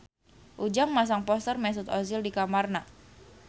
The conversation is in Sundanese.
Ujang masang poster Mesut Ozil di kamarna